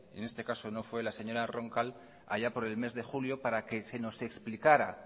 en este caso no fue la señora roncal allá por el mes de julio para que se nos explicara